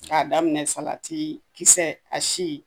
K'a daminɛ kisɛ a si.